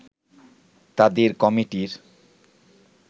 তাদের কমিটির